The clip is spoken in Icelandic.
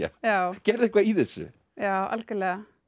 gerðu eitthvað í þessu já algjörlega